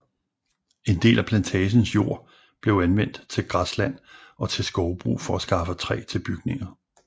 En del af plantagens jord blev anvendt til græsland og til skovbrug for at skaffe træ til bygninger